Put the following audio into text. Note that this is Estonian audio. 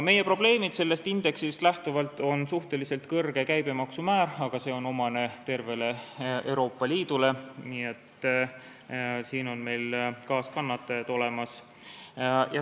Meie probleem sellest indeksist lähtuvalt on suhteliselt kõrge käibemaksu määr, aga see on omane tervele Euroopa Liidule, nii et siin on meil kaaskannatajad olemas.